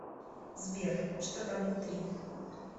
сбер что там внутри